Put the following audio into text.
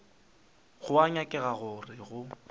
go a nyakega gore go